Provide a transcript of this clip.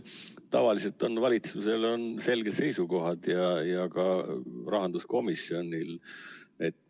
Tavaliselt on valitsusel selged seisukohad ja rahanduskomisjonil samuti.